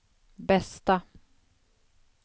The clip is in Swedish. bästa